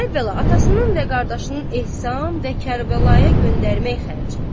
Əvvəla atasının və qardaşının ehsan və Kərbəlaya göndərmək xərci.